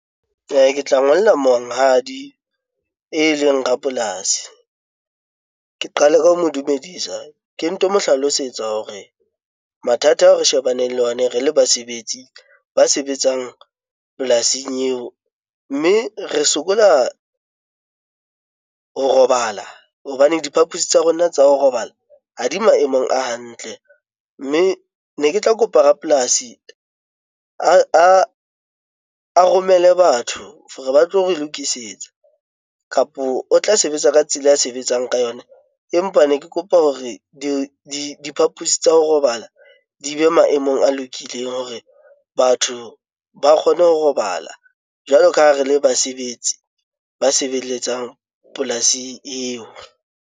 Ke tla ngolla monghadi e leng rapolasi, ke qale ka ho mo dumedisa ke mo hlalosetsa hore mathata ao re shebaneng le ona re le basebetsi ba sebetsang polasing eo mme re sokola ho robala hobane diphapusi tsa rona tsa ho robala ha di maemong a hantle. Mme ne ke tla kopa rapolasi a romele batho hore ba tlo re lokisetsa kapo o tla sebetsa ka tsela ya sebetsang ka yona empa ne ke kopa hore diphapusi tsa ho robala di be maemong a lokileng hore batho ba kgone ho robala jwalo ka ha re le basebetsi ba sebeletsang polasi eo.